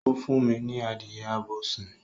O fún mi ní adìye abo sin